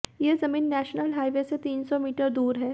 ये जमीन national highway से तीन सौ मीटर दूर है